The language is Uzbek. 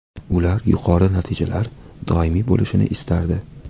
Ular yuqori natijalar doimiy bo‘lishini istardi.